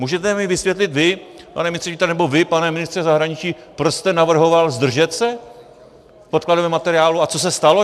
Můžete mi vysvětlit vy, pane ministře vnitra, nebo vy, pane ministře zahraničí, proč jste navrhoval zdržet se v podkladovém materiálu a co se stalo?